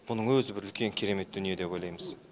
мұның өзі бір үлкен керемет дүние деп ойлаймыз